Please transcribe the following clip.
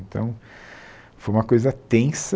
Então, foi uma coisa tensa.